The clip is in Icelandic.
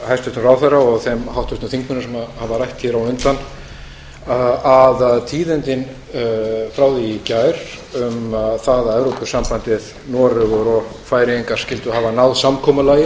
hæstvirtur ráðherra og þeim háttvirtu þingmönnum sem hafa rætt hér á undan að tíðindin frá því í gær um það að evrópusambandið noregur og færeyingar skyldu hafa náð samkomulagi